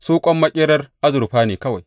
Su ƙwan maƙerar azurfa ne kawai.